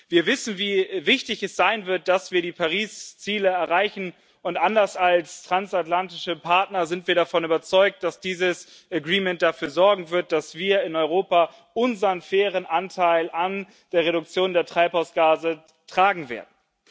Wir wissen, wie wichtig es sein wird, dass wir die Paris Ziele erreichen, und anders als transatlantische Partner sind wir davon überzeugt, dass dieses Agreement dafür sorgen wird, dass wir in Europa unseren fairen Anteil an der Reduktion der Treibhausgase tragen werden.